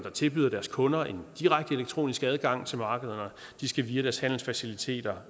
tilbyder deres kunder en direkte elektronisk adgang til markederne via deres handelsfaciliteter